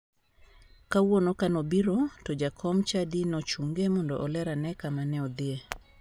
Kawuono ka ne obiro to jakom chadi ne ochunge mondo oler ane kama ne odhiye.